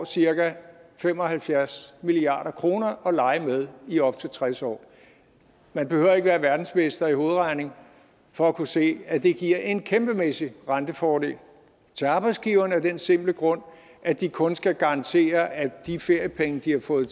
cirka fem og halvfjerds milliard kroner at lege med i op til tres år man behøver ikke være verdensmester i hovedregning for at kunne se at det giver en kæmpemæssig rentefordel til arbejdsgiverne af den simple grund at de kun skal garantere at de feriepenge de har fået